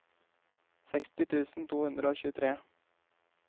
seksti tusen to hundre og tjuetre